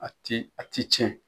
A ti a ti cɛn.